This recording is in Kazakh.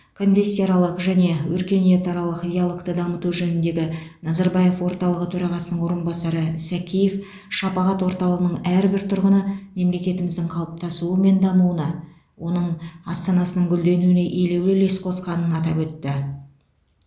конфессияаралық және өркениетаралық диалогты дамыту жөніндегі назарбаев орталығы төрағасының орынбасары сәкеев шапағат орталығының әрбір тұрғыны мемлекетіміздің қалыптасуы мен дамуына оның астанасының гүлденуіне елеулі үлес қосқанын атап өтті